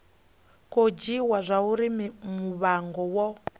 khou dzhiiwa zwauri muvhigo wo